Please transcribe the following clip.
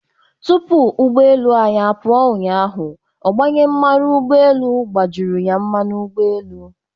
Tupu ụgbọ elu anyị apụọ ụnyaahụ, ọgbanye mmanụ ụgbgọelu gbajuru ya mmanụ ụgbọelu.